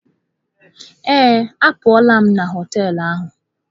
Ee, apụla m na họtel ahụ.